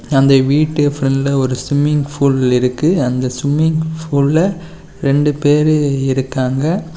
அந்த வீட்டு பிரண்ட்ல ஒரு ஸ்ம்மிங் ஃபுல் இருக்கு அந்த ஸ்ம்மிங் பஃபுல்லா ரெண்டு பேரு இருக்காங்க.